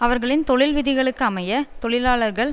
அவர்களின் தொழில் விதிகளுக்கு அமைய தொழிலாளர்கள்